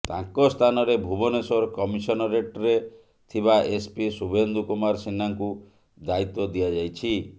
ତାଙ୍କ ସ୍ଥାନରେ ଭୁବନେଶୂର କମିଶନରେଟ୍ ରେ ଥିବା ଏସ୍ ପି ଶୁଭେନ୍ଦୁ କୁମାର ସିହ୍ନାଙ୍କୁ ଦାୟୀତ୍ୱ ଦିଆଯାଇଛି